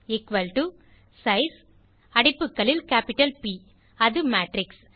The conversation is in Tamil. எக்குவல் டோ சைஸ் அடைப்புகளில் கேப்பிட்டல் ப் அது மேட்ரிக்ஸ்